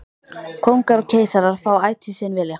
Kóngar og keisarar fá ætíð sinn vilja.